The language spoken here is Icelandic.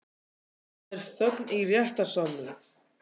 Og það var þögn í réttarsalnum.